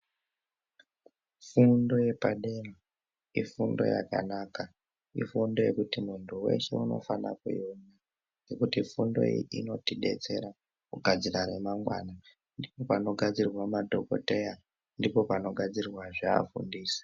Fundo yepadera ifundo yakanaka. Ifundo yekuti muntu weshe unofana kuiona ngekuti fundo iyi inotidetsera kugadzira remangwana. Ndipo panogadzirwa madhokodheya, ndipo panogadzirwa zvee afundisi.